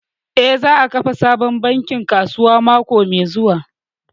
Eh, za a kafa sabon bankin kasuwa mako mai zuwa